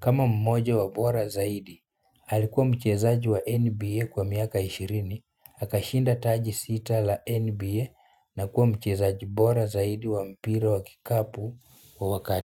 kama mmoja wa bora zaidi alikuwa mchezaji wa NBA kwa miaka ishirini akashinda taji sita la NBA na kuwa mchezaji bora zaidi wa mpira wa kikapu kwa wakati.